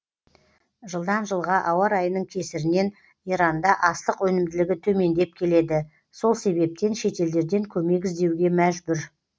жылдан жылға ауа райының кесірінен иранда астық өнімділігі төмендеп келеді сол себептен шетелдерден көмек іздеуге мәжбүр